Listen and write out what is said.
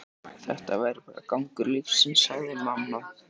Þetta væri bara gangur lífsins, sagði mamma.